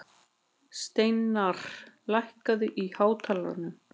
Steinarr, lækkaðu í hátalaranum.